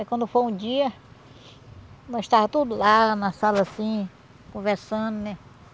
Aí, quando foi um dia, nós estava tudo lá na sala, assim, conversando, né?